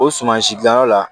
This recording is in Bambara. O suman si dilanyɔrɔ la